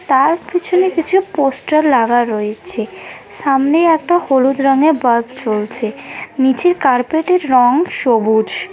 তার পিছনে কিছু পোস্টার লাগা রয়েছে সামনে একটা হলুদ রঙের বাস চলছে নীচের কার্পেটের রং সবুজ।